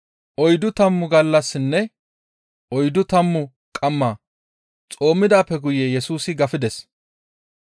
Oyddu tammu gallassinne oyddu tammu qamma xoomidaappe guye Yesusi gafides.